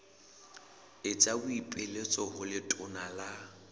etsa boipiletso ho letona la